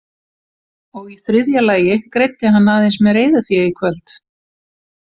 Og í þriðja lagi greiddi hann aðeins með reiðufé í kvöld.